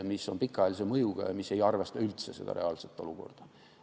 See on pikaajalise mõjuga ega arvesta üldse reaalset olukorda.